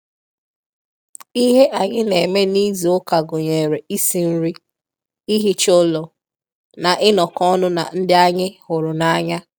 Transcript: Ihe anyị na-eme n'izu ụka gụnyere isi nri, ihicha ụlọ, na inọkọ ọnụ na ndị anyị hụrụ n'anya.